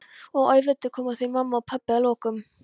Og auðvitað komu þau mamma og pabbi að lokum.